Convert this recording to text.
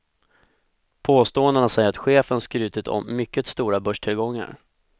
Påståendena säger att chefen skrutit om mycket stora börstillgångar.